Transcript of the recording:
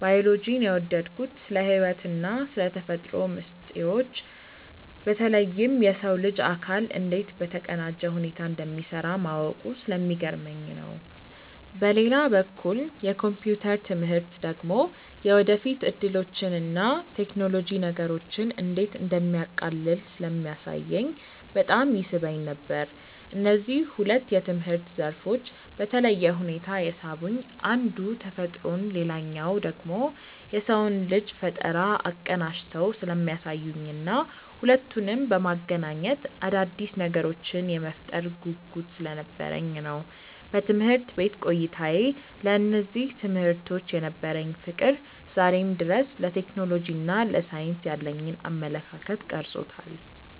ባዮሎጂን የወደድኩት ስለ ሕይወትና ስለ ተፈጥሮ ሚስጥሮች በተለይም የሰው ልጅ አካል እንዴት በተቀናጀ ሁኔታ እንደሚሠራ ማወቁ ስለሚገርመኝ ነው። በሌላ በኩል የኮምፒውተር ትምህርት ደግሞ የወደፊት ዕድሎችንና ቴክኖሎጂ ነገሮችን እንዴት እንደሚያቃልል ስለሚያሳየኝ በጣም ይስበኝ ነበር። እነዚህ ሁለት የትምህርት ዘርፎች በተለየ ሁኔታ የሳቡኝ አንዱ ተፈጥሮን ሌላኛው ደግሞ የሰውን ልጅ ፈጠራ አቀናጅተው ስለሚያሳዩኝና ሁለቱንም በማገናኘት አዳዲስ ነገሮችን የመፍጠር ጉጉት ስለነበረኝ ነው። በትምህርት ቤት ቆይታዬ ለእነዚህ ትምህርቶች የነበረኝ ፍቅር ዛሬም ድረስ ለቴክኖሎጂና ለሳይንስ ያለኝን አመለካከት ቀርጾታል።